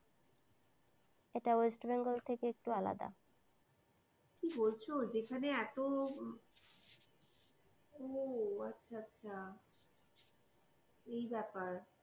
এটা west bengal থেকে একটু আলাদা কি বলছ যেখানে এত ও আচ্ছা আচ্ছা এই ব্যাপার।